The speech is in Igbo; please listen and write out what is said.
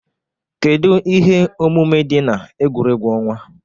Kedu ihe omume dị na egwuregwu ọnwa?